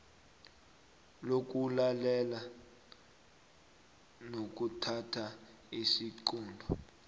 lokulalela nokuthatha isiqunto